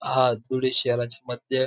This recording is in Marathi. हा थोडासा शहराच्या मध्ये --